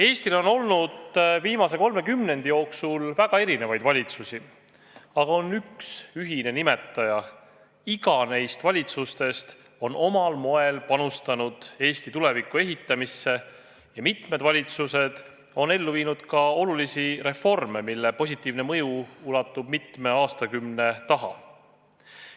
Eestil on viimase kolme kümnendi jooksul olnud väga erinevaid valitsusi, aga neil kõigil on üks ühine nimetaja: iga valitsus on omal moel panustanud Eesti tuleviku ehitamisse ja mitmed valitsused on ellu viinud ka olulisi reforme, mille positiivne mõju ulatub mitme aastakümne taha.